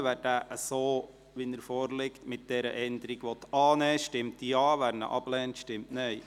Wer diesen so, wie er vorliegt, mit dieser Änderung annehmen will, stimmt Ja, wer diesen ablehnt, stimmt Nein.